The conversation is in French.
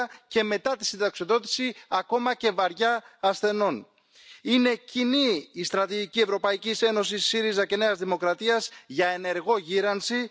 du premier et du deuxième piliers des retraites. Nous sommes contre le développement du PEPP comme un seul produit financier.